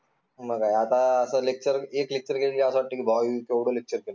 मग काय आता असं lecture एक lecture केलं तरी असत वाट्टे की, बा यांनी केवढं lecture केलं